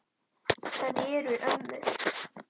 Það eru ömmur.